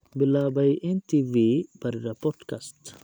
bilaabay n.t.v baadhida podcast